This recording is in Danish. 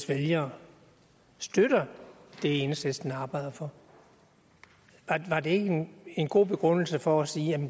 vælgere støtter det enhedslisten arbejder for var det ikke en god begrundelse for at sige